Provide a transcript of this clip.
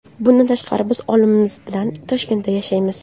Bundan tashqari, biz oilamiz bilan Toshkentda yashaymiz.